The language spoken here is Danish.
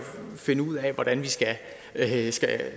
finde ud af hvordan vi